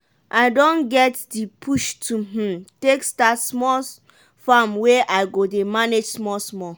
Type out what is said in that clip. i don get di push to um take start small farm wey i go dey manage small small.